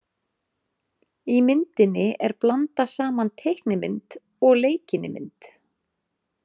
Í myndinni er blandað saman teiknimynd og leikinni mynd.